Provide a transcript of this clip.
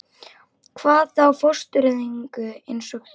Hvað þá fóstureyðingu- eins og þú.